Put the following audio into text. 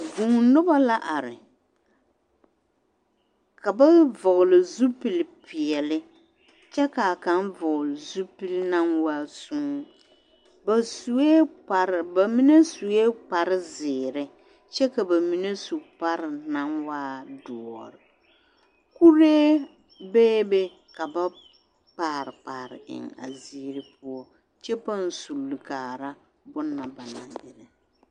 Vuunoba la are ka ba vɔɡele zupilipeɛle kyɛ ka kaŋ vɔɡele zupili naŋ waa sõõ ba sue kparr ba mine sue kparziiri kyɛ ka ba mine su kpar naŋ waa doɔre kuree beebe ka ba kpaarekpaare eŋ a ziiri poɔ kyɛ paŋ suli kaara bone na ba naŋ erɛ.